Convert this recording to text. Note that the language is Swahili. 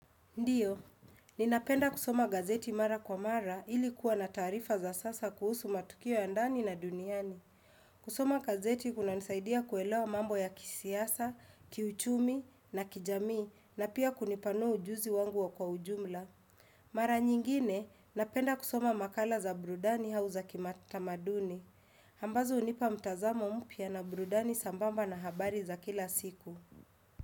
Ndiyo, ninapenda kusoma gazeti mara kwa mara ili kuwa na taarifa za sasa kuhusu matukio ya ndani na duniani. Kusoma gazeti kunanisaidia kuelewa mambo ya kisiasa, kiuchumi na kijamii na pia kunipanua ujuzi wangu wa kwa ujumla. Mara nyingine, napenda kusoma makala za brudani hau za kimatamaduni. Ambazo hunipa mtazamo mpya na burudani sambamba na habari za kila siku.